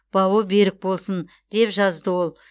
бауы берік болсын деп жазды ол